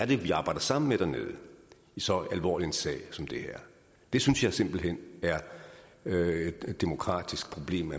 det er vi arbejder sammen med dernede i så alvorlig en sag som det her det synes jeg simpelt hen er et demokratisk problem